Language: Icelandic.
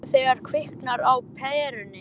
Mér bregður þegar kviknar á perunni